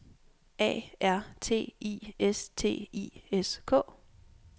A R T I S T I S K